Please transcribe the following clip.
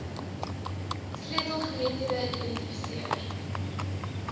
sleutel geleenthede identifiseer